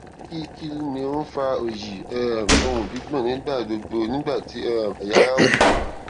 kí kí ni ó ń fa oyi um òun gbigbon nígbà gbogbo nígbà tí um ẹya ara wú